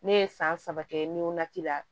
Ne ye san saba kɛ ni wolonci la